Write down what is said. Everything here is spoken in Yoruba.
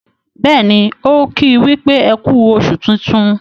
béèni o ki wípé eku oṣù tintun.